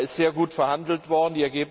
Da ist sehr gut verhandelt worden.